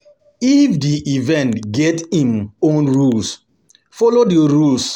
If di event get im own rules, follow di rules